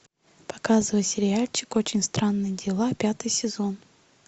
показывай сериальчик очень странные дела пятый сезон